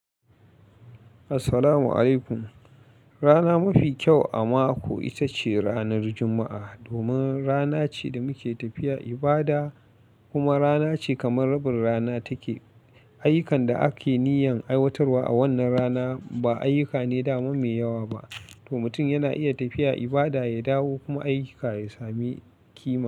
Assalamu'alaikum. Rana mafi kyau a mako ita ce ranar Juma'a domin rana ce da muke tafiya ibada kuma rana ce kamar rabin rana take. Ayukan da ake niyyan aiwatarwa a wannan rana ba ayyuka ne da ma me yawa ba, to mutum yana iya tafiya ibada, ya dawo kuma ayyuka ya sami kima.